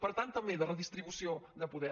per tant també de redistribució de poder